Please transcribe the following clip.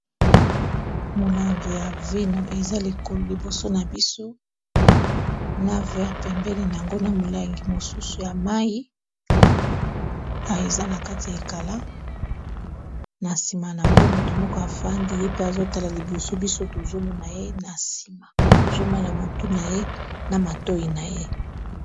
molangi ya vino eza lekolo liboso na biso na vere pembene yango na molangi mosusu ya mai eza na kati ya ekala na nsima na yango moto moko afandi ye pe azotala liboso biso tozomona ye na nsimatozomona motu na ye na matoi na ye